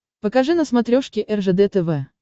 покажи на смотрешке ржд тв